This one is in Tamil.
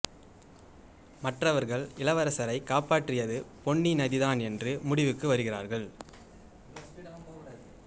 மற்றவர்கள் இளவரசரை காப்பாற்றியது பொன்னி நதிதான் என்று முடிவுக்கு வருகிறார்கள்